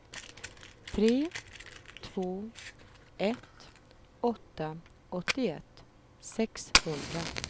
tre två ett åtta åttioett sexhundra